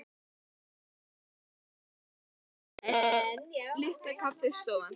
Hún gæti heitið Litla sjónvarpsstöðin, svona einsog Litla kaffistofan.